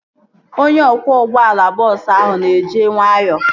Onye ọkwọ ụgbọala bọọsu ahụ nọ na-eje nwayọọ